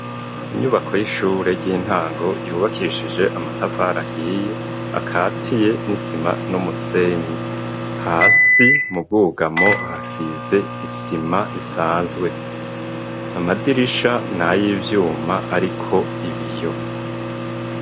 Inyubako y'ishure ry'intango yubakishije amatafarahiye akatiye n'isima n'umusenye hasi mubwugamo hasize isima isanzwe amadirisha nayo ivyuma, ariko ibiyo.